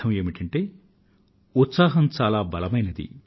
ఉత్సాహంతో నిండిన ఒక వ్యక్తి అత్యంత శక్తివంతుడు